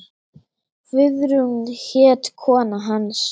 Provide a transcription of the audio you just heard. Guðrún hét kona hans.